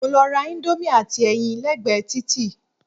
Mo lọ ra íńdómì àti ẹyin lẹ́gbẹ̀ẹ́ títì.